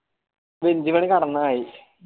bench ഇലെനി കടന്നമതി